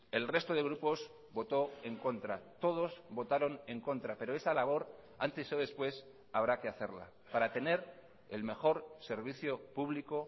el resto de grupos votó en contra todos votaron en contra pero esa labor antes o después habrá que hacerla para tener el mejor servicio público